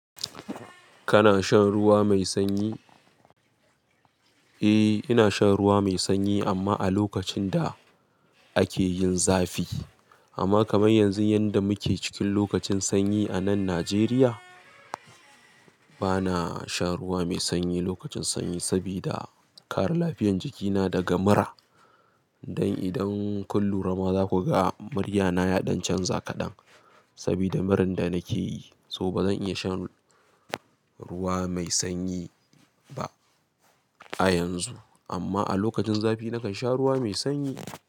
Kana shan ruwa mai sanyi? Eh, ina shan ruwa mai sanyi amma a lokacin da ake yin zafi. Amma kamar yanzu yanda muke cikin lokacin sanyi a nan Najeriya, bana shan ruwa mai sanyi lokacin sanyi sabida kare lafiyan jikina daga mura. Don idan kun lura ma zaku ga murya na ya ɗan canza kaɗan sabida muran da nake yi. So bazan iya sha nruwa mai sanyi ba a yanzu. Amma a lokacin zafi nakan sha ruwa mai sanyi.